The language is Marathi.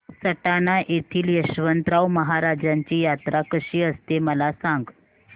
सटाणा येथील यशवंतराव महाराजांची यात्रा कशी असते मला सांग